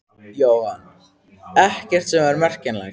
Jóhann: Ekkert sem er merkjanlegt?